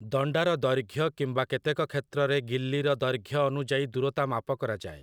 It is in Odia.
ଦଣ୍ଡାର ଦୈର୍ଘ୍ୟ କିମ୍ବା କେତେକ କ୍ଷେତ୍ରରେ ଗିଲ୍ଲିର ଦୈର୍ଘ୍ୟ ଅନୁଯାୟୀ ଦୂରତା ମାପ କରାଯାଏ ।